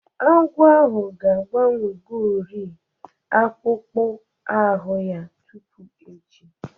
Agwọ ahụ ga-agbanwegori akpụkpọ ahụ ya tupu echi